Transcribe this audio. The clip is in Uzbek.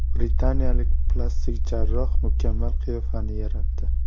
Britaniyalik plastik jarroh mukammal qiyofani yaratdi.